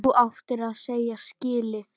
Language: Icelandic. Þú áttir það ekki skilið.